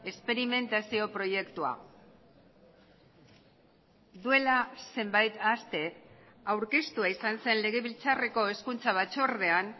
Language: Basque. esperimentazio proiektua duela zenbait aste aurkeztua izan zen legebiltzarreko hezkuntza batzordean